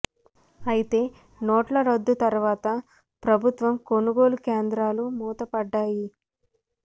అయితే నోట్ల రద్దు తరువాత ప్రభుత్వం కొనుగోలు కేంద్రా లు మూతపడ్డాయి